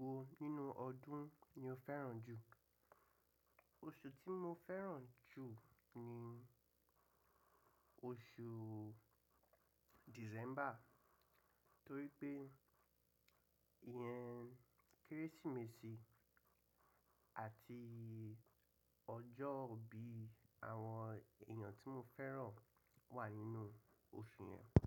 Oṣù wo nínú ọdún ni o fẹ́ràn jù? Oṣù tí mo fẹ́ràn jù ni oṣù December, torí pé ìyẹn Kérésìmesì àti ọjọ́ ìbí àwọn èèyàn tí mo fẹ́ràn wà nínú oṣù yẹn.